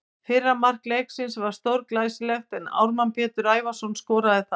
Fyrra mark leiksins var stórglæsilegt en Ármann Pétur Ævarsson skoraði það.